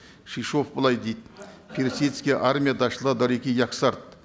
шишов былай дейді персидская армия дошла до реки яксарт